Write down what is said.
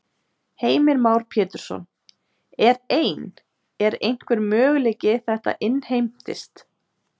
Heimir Már Pétursson: Er ein, er einhver möguleiki að þetta innheimtist?